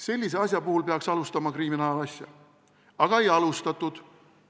Sellise asja puhul peaks alustama kriminaalasja, aga ei alustatud.